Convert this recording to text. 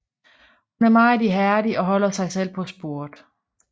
Hun er meget ihærdig og holder sig selv på sporet